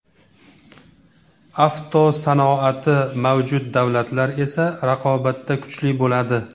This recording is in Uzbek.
Avtosanoati mavjud davlatlar esa raqobatda kuchli bo‘ladi.